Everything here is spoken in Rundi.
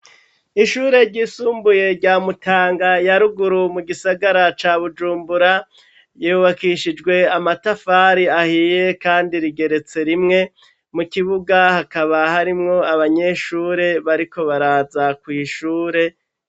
Ishure ryisumbuye rya Mutanga ya ruguru mu gisagara ca Bujumbura, yubakishijwe amatafari ahiye kandi rigeretse rimwe, mu kibuga hakaba harimwo abanyeshure bariko baraza kw' ishure